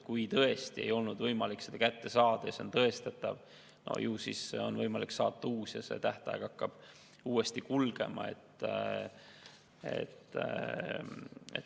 Kui tõesti ei olnud võimalik teadet kätte saada ja see on tõestatav, ju siis on võimalik saata uus teade ja tähtaega hakatakse uuesti lugema.